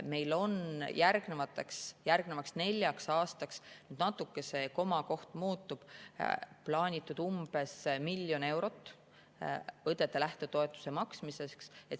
Meil on järgnevaks neljaks aastaks – natuke see komakoht muutub – plaanitud umbes miljon eurot õdede lähtetoetuse maksmiseks.